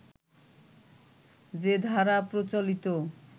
যে ধারা প্রচলিত